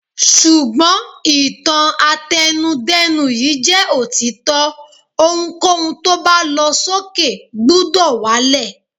Ṣùgbọ́n, ìtàn àtẹnu-dẹ́nu yìí jẹ́ òtítọ́, ohunkóhun tó bá lọ sókè gbúdọ̀ wá lẹ̀.